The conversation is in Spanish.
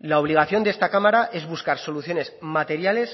la obligación de esta cámara es buscar soluciones materiales